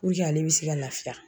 ale be se ka lafiya.